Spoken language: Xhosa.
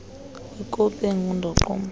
kwikopi engundoqo umphathi